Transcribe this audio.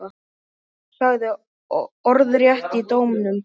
Sagði orðrétt í dómnum